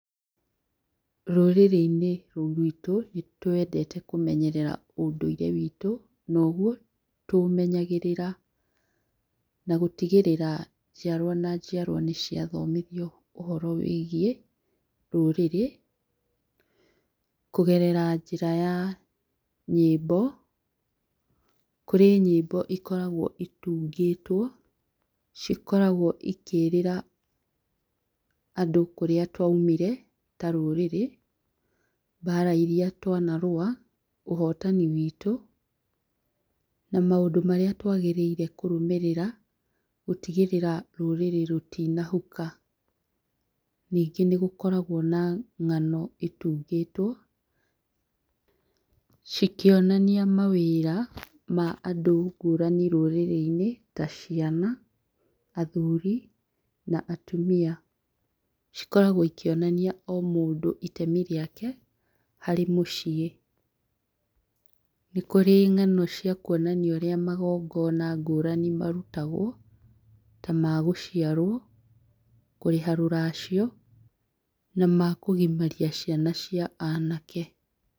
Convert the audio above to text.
Rũrĩrĩ-inĩ rũrũ ruitũ nĩ twendete kũmenyerera ũndũire witũ, noguo tũũmenyagĩrĩra na gũtigĩrĩra njiarwa na njiarwa nĩ thomithio ũhoro wĩgie rũrĩrĩ, kũgerera njĩra ya nyĩmbo, kũrĩ nyĩmbo ikoragwo itungĩtwo, cikoragwo cikĩrĩra andũ kũrĩa twaumire ta rũrĩrĩ, mbara iria twanarũa ũhotani witũ na maũndũ marĩa twagĩrĩire kũrũmĩrĩra gũtigĩrĩra rũrĩrĩ rũtina huka, ningĩ nĩ gũkoragwo na ng'ano itungĩtwo, cikĩonania ma wĩra ma andũ ngũrani rũrĩrĩ-inĩ ta ciana , athuri na atumia, cikoragwo cikĩonania o mũndũ itemi rĩake harĩ mũciĩ, nĩ kũrĩ ng'ano cia kwonania ũrĩa magongona ngũrani marutagwo ta magũciarwo, kũrĩha rũracio na makũgimaria ciana cia anake.